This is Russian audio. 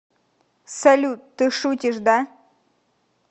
салют ты шутишь да